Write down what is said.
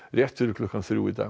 rétt fyrir klukkan þrjú í dag